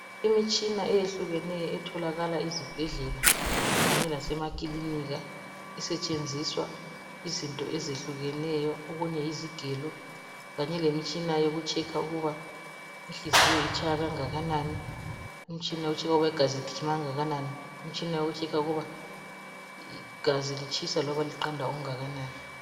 Imitshina eyehlukeneyo etholakala ezibhedlela lasemakilinika isetshenziswa izinto ezitshiyeneyo. Ezinye yizigelo kanye lemitshina yokuhlola ukuba inhliziyo itshaya okunganani, igazi ligijima okunganani njalo igazi litshisa loba liqanda okungakanani